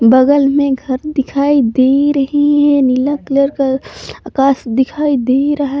बगल में घर दिखाई दे रही है नीला कलर का आकाश दिखाई दे रहा--